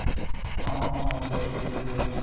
অ অ অ গুৱাহাটীত হৈছিলে যে